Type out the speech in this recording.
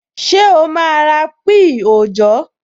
Ṣé o máa ra píì òòjọ́?